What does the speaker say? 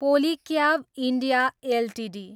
Polycab India Ltd